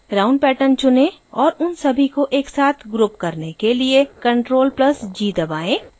round pattern चुनें और उन सभी को एकसाथ group करने के लिए ctrl + g दबाएं